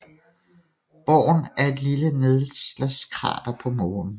Born er et lille nedslagskrater på Månen